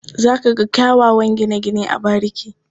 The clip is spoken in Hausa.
Za ka ga kyawawan gine-gine a bariki.